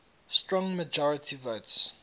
strong majority votes